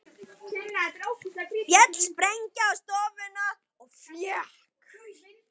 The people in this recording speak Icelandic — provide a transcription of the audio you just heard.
Féll sprengja á stofuna eða fékk